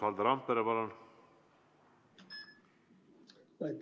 Valdo Randpere, palun!